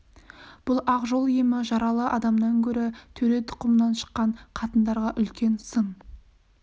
бұл ақ жол емі жаралы адамнан гөрі төре тұқымынан шыққан қатындарға үлкен сын